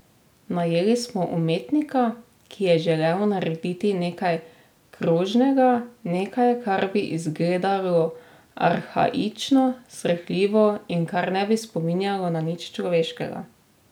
Najeli smo umetnika, ki je želel narediti nekaj krožnega, nekaj, kar bi izgledalo arhaično, srhljivo in kar ne bi spominjalo na nič človeškega.